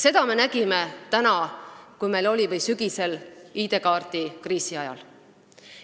Seda me nägime tänavu sügisel ID-kaardi kriisi ajal.